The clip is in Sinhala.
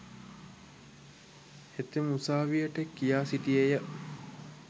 හෙතෙම උසාවියට කියා සිටියේය.